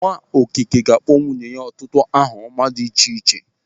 Nwaokike ga-akpọ nwunye ya ọtụtụ aha ọma dị iche iche.